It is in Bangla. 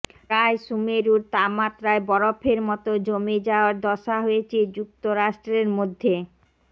প্রায় সুমেরুর তাপমাত্রায় বরফের মতো জমে যাওয়ার দশা হয়েছে যুক্তরাষ্ট্রের মধ্য